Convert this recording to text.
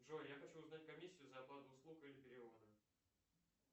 джой я хочу узнать комиссию за оплату услуг или перевода